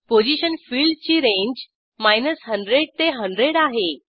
position फिल्डची range 100 ते 100 आहे